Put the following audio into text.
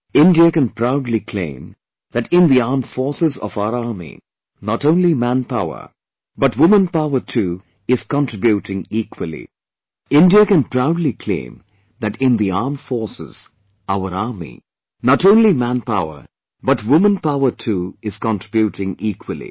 Indian can proudly claim that in the armed forces, our Army not only manpower but womanpower too is contributing equally